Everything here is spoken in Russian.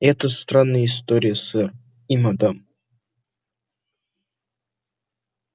это странная история сэр и мадам